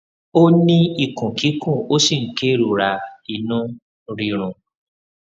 ó ní ikun kikun ó sì ń kerora inu rirun